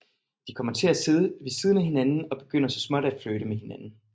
De kommer til at sidde ved siden af hinanden og begynder så småt at flirte med hinanden